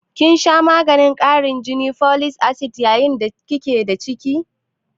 kin sha maganin karin jini (folic acid) yayin da ki ke da ciki?